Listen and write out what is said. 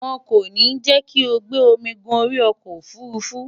won ko ni je ki o gbe omi gun ori oko ofurufu